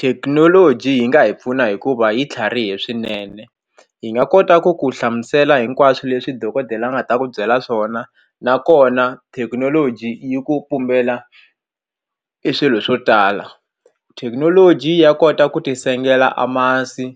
Thekinoloji yi nga hi pfuna hikuva yi tlharihe swinene hi nga kota ku ku hlamusela hinkwaswo leswi dokodela a nga ta ku byela swona nakona thekinoloji yi ku pumbela i swilo swo tala thekinoloji ya kota ku ti sengela a masi